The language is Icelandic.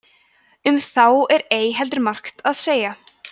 um þá er ei heldur margt að segja